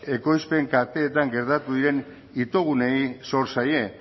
ekoizpen kateetan gertatu diren itogunei zor zaie